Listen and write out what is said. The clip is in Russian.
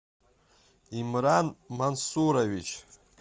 имран мансурович